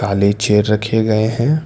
काले चेयर रखें गए हैं।